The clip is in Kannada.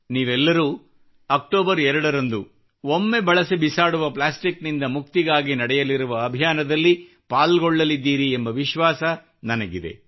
ನೀವೆಲ್ಲರೂ ಅಕ್ಟೋಬರ್ 2 ರಂದು ಒಮ್ಮೆ ಬಳಸಿ ಬಿಸಾಡುವ ಪ್ಲಾಸ್ಟಿಕ್ ನಿಂದ ಮುಕ್ತಿಗಾಗಿ ನಡೆಯಲಿರುವ ಅಭಿಯಾನದಲ್ಲಿ ಪಾಲ್ಗೊಳ್ಳಲಿದ್ದೀರಿ ಎಂಬ ವಿಶ್ವಾಸ ನನಗಿದೆ